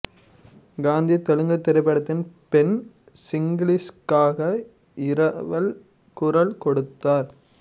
காந்தி தெலுங்குத் திரைப்படத்தில் பென் கிங்ஸ்லிக்காக இரவல் குரல் கொடுத்தார்